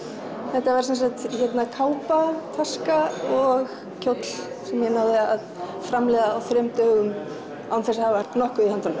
þetta var sem sagt kápa taska og kjóll sem ég náði að framleiða á þrem dögum án þess að hafa nokkuð í höndunum